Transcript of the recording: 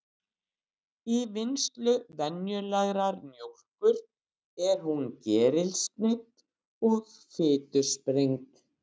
Í vinnslu venjulegrar mjólkur er hún gerilsneydd og fitusprengd.